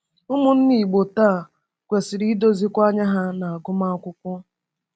Ụmụnne Igbo taa kwesịrị idozikwa anya ha n’agụmakwụkwọ.